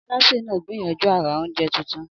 Alásè náà gbìyànjú àrà oúnjẹ tuntun.